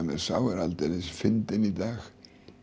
mér sá er aldeilis fyndinn í dag